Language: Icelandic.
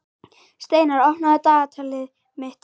Steinar, opnaðu dagatalið mitt.